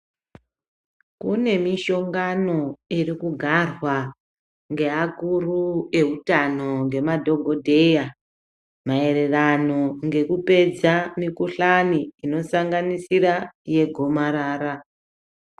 Kune mishongano iri kugarwa ngeakuru eutano, ngemadhokodheya maererano ngekupedza mikhuhlani inosanganisira yegomarara.